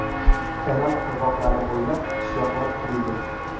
Kanal qirg‘oqlari bo‘ylab qishloqlar qurildi.